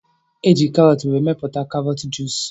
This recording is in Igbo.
Eji karọt were mepụta karọt juus